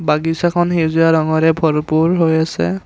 বাগিছাখন সেউজীয়া ৰঙেৰে ভৰপূৰ হৈ আছে।